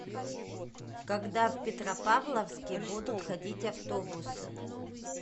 когда в петропавловске будут ходить автобусы